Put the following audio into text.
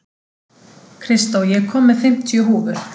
Kristó, ég kom með fimmtíu húfur!